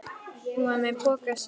Hún var með pokann sinn.